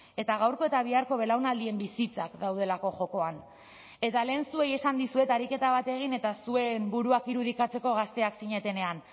eta gaurko eta biharko belaunaldien bizitzak daudelako jokoan eta lehen zuei esan dizuet ariketa bat egin eta zuen buruak irudikatzeko gazteak zinetenean